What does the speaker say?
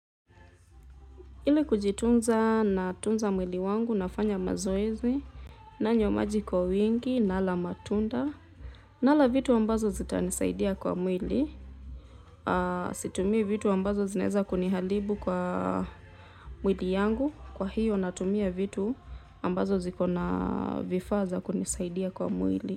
Ile kujitunza natunza mwili wangu nafanya mazoezi nanywa maji kwa wingi nala matunda nala vitu ambazo zitanisaidia kwa mwili situmii vitu ambazo zinaeza kuniharibu kwa mwili yangu kwa hiyo natumia vitu ambazo ziko na vifaa za kunisaidia kwa mwili.